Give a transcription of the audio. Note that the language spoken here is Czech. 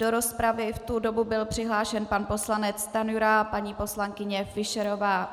Do rozpravy v tu dobu byl přihlášen pan poslanec Stanjura a paní poslankyně Fischerová.